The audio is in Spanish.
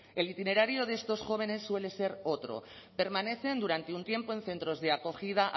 el itinerario de estos jóvenes suele ser otro permanecen durante un tiempo en centros de acogida